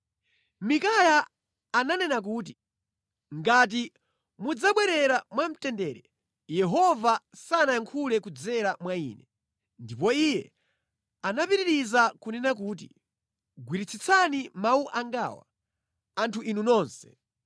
Mikaya ananena kuti, “Ngati mudzabwerera mwamtendere, Yehova sanayankhule kudzera mwa ine.” Ndipo iye anapitiriza kunena kuti, “Gwiritsitsani mawu angawa, anthu inu nonse!”